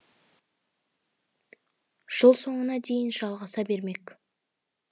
жыл соңына дейін жалғаса бермек